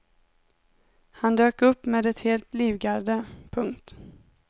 Han dök upp med ett helt livgarde. punkt